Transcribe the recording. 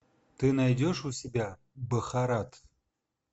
ты найдешь у себя бхарат